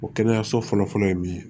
O kɛnɛyaso fɔlɔfɔlɔ ye min ye